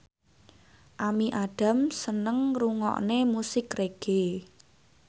Amy Adams seneng ngrungokne musik reggae